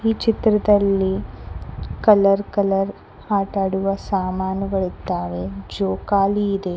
ಚಿತ್ರದಲ್ಲಿ colour colour ಆಟ ಆಡುವ ಸಾಮಾನುಗಳಿದ್ದಾವೆ ಜೋಕಾಲಿ ಇದೆ.